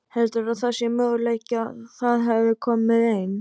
Heldurðu að það sé möguleiki að það hefði komið ein